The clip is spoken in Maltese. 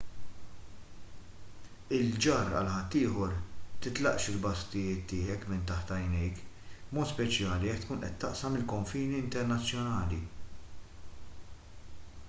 il-ġarr għal ħaddieħor titlaqx il-basktijiet tiegħek minn taħt għajnejk b'mod speċjali jekk tkun qed taqsam il-konfini internazzjonali